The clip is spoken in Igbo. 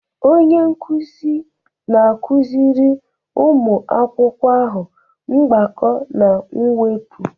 Onye nkuzi na-akụziri ụmụ akwụkwọ ahụ mgbakọ na mwepụ